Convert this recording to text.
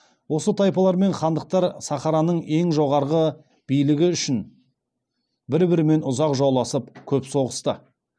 осы тайпалар мен хандықтар сахараның ең жоғары билігі үшін бір бірімен ұзақ жауласып көп соғысты